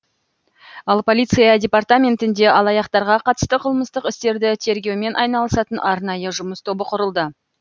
ал полиция департаментінде алаяқтарға қатысты қылмыстық істерді тергеумен айналысатын арнайы жұмыс тобы құрылды